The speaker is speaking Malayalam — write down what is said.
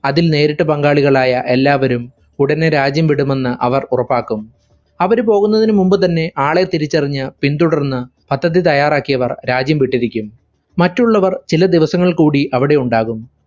അതിൽ നേരിട്ട് പങ്കാളികളായ എല്ലാവരും ഉടനെ രാജ്യം വിടുമെന്ന് അവർ ഉറപ്പാക്കും. അവരു പോകുന്നതിനു മുൻപുതന്നെ ആളെ തിരിച്ചറിഞ്ഞു പിൻതുടർന്ന് പദ്ധതി തയ്യാറാക്കിയവർ രാജ്യം വിട്ടിരിക്കും. മറ്റുള്ളവർ ചില ദിവസങ്ങൾകൂടി അവിടെയുണ്ടാകും.